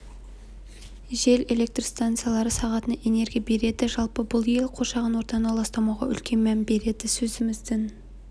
жел электрстанциялары сағатына энергия береді жалпы бұл ел қоршаған ортаны ластамауға үлкен мән береді сөзіміздің